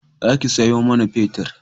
Za ki sayo mana fetir